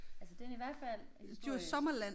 Altså den er i hvert fald historisk